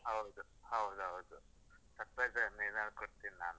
ಹೌದ್, ಹೌದೌದು. surprise ಏನನ್ನಾದ್ರು ಕೊಡ್ತಿನ್ ನಾನು.